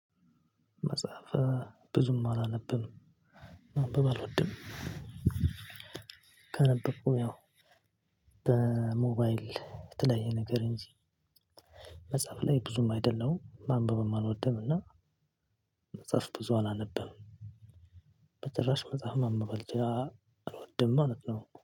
መጽሐፈ ብዙም አላነብም ማንበብ አልወድም። ከነበብኩም ያው በሞባይል የተለያየ ነገር እንጂ መጻህፍ ለይ ብዙም አይደለሁም ማንበብም አልወድም። እና መጽሐፍ ብዙ አላነብም። በጭራሽ መጽሐፍ ማንባብ አልወድም ማለት ነው